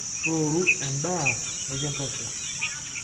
Tooru endaa nikintosha.